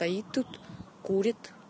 стоит тут курит